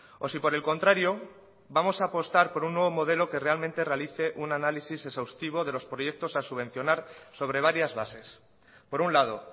o si por el contrario vamos a apostar por un nuevo modelo que realmente realice un análisis exhaustivo de los proyectos a subvencionar sobre varias bases por un lado